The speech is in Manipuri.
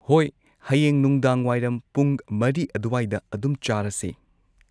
ꯍꯣꯏ ꯍꯌꯦꯡ ꯅꯨꯡꯗꯥꯡꯋꯥꯏꯔꯝ ꯄꯨꯡ ꯃꯔꯤ ꯑꯗꯨꯋꯥꯏꯗ ꯑꯗꯨꯝ ꯆꯥꯔꯁꯦ